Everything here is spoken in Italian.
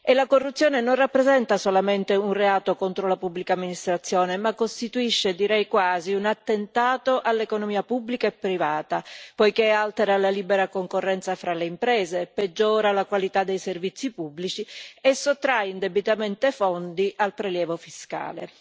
La corruzione non rappresenta solamente un reato contro la pubblica amministrazione, ma costituisce direi quasi un attentato all'economia pubblica e privata, poiché altera la libera concorrenza fra le imprese, peggiora la qualità dei servizi pubblici e sottrae indebitamente fondi al prelievo fiscale.